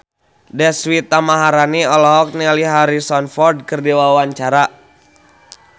Deswita Maharani olohok ningali Harrison Ford keur diwawancara